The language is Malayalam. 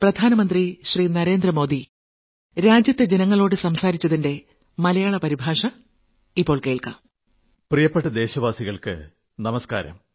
പ്രിയപ്പെട്ട ദേശവാസികൾക്കു നമസ്കാരം